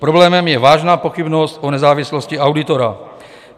Problémem je vážná pochybnost o nezávislosti auditora.